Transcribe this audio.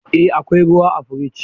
Eh akwai ruwa a fridge